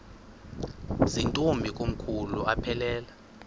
zirntombi komkhulu aphelela